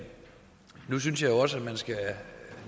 jeg synes nu også at man